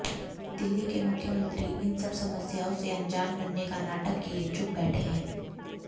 दिल्ली के मुख्यमंत्री इन सब समस्याओं से अंजान बनने का नाटक किए चुप बैठे हैं